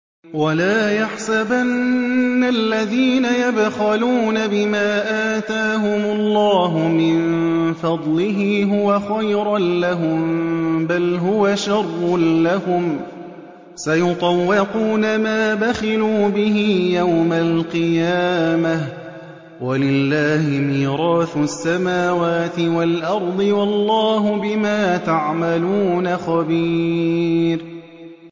وَلَا يَحْسَبَنَّ الَّذِينَ يَبْخَلُونَ بِمَا آتَاهُمُ اللَّهُ مِن فَضْلِهِ هُوَ خَيْرًا لَّهُم ۖ بَلْ هُوَ شَرٌّ لَّهُمْ ۖ سَيُطَوَّقُونَ مَا بَخِلُوا بِهِ يَوْمَ الْقِيَامَةِ ۗ وَلِلَّهِ مِيرَاثُ السَّمَاوَاتِ وَالْأَرْضِ ۗ وَاللَّهُ بِمَا تَعْمَلُونَ خَبِيرٌ